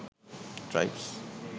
tribes